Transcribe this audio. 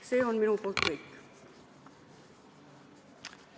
See on minu poolt kõik.